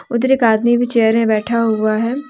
उधर एक आदमी भी चेयर में बैठा हुआ है।